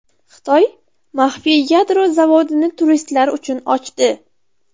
Xitoy maxfiy yadro zavodini turistlar uchun ochdi.